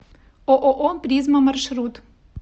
ооо призма маршрут